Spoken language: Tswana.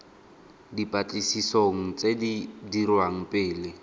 dipatlisisong tse di dirwang pele